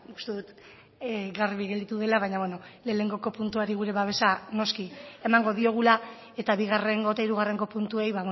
uste dut garbi geratu dela baino bueno lehenengoko puntuari gure babesa noski emango diogula eta bigarrengo eta hirugarrengo puntuei